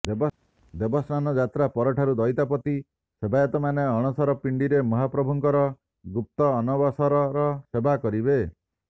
ଦେବସ୍ନାନ ଯାତ୍ରା ପରଠାରୁ ଦଇଦାପତି ସେବାୟତମାନେ ଅଣସର ପିଣ୍ଡିରେ ମହାପ୍ରଭୁଙ୍କର ଗୁକ୍ତ ଅନବସର ସେବା କରିବେ